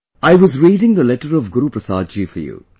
'I was reading the letter of Guruprasad ji for you